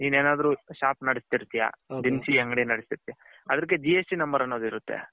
ನಿನ್ ಏನಾದ್ರು shop ನಡೆಸತಿರ್ತಿಯಾ ದಿನಸಿ ಅಂಗಡಿ ನಡೆಸತಿರ್ತಿಯಾ ಅದಿಕ್ಕೆ GST number ಅನೋದು ಇರುತೆ.